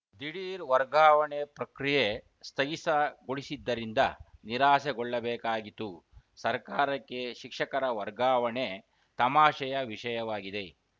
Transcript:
ದಿಢೀರ್‌ ವರ್ಗಾವಣೆ ಪ್ರಕ್ರಿಯೆ ಸ್ಥಗಿಸಗೊಳಿಸಿದ್ದರಿಂದ ನಿರಾಸೆಗೊಳ್ಳಬೇಕಾಗಿತು ಸರ್ಕಾರಕ್ಕೆ ಶಿಕ್ಷಕರ ವರ್ಗಾವಣೆ ತಮಾಷೆಯ ವಿಷಯವಾಗಿದೆ